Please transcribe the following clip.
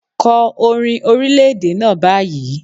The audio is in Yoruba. Kọ orin orílẹ̀-èdè náà báyìí.